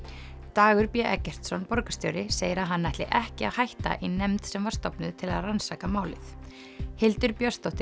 Dagur b Eggertsson borgarstjóri segir að hann ætli ekki að hætta í nefnd sem var stofnuð til að rannsaka málið Hildur Björnsdóttir